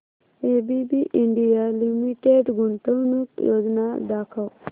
ABB India limited गुंतवणूक योजना दाखव